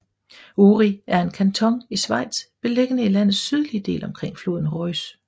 Uri er en kanton i Schweiz beliggende i landets sydlige del omkring floden Reuss